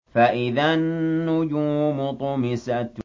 فَإِذَا النُّجُومُ طُمِسَتْ